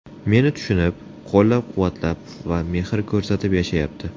Meni tushunib, qo‘llab-quvvatlab va mehr ko‘rsatib yashayapti!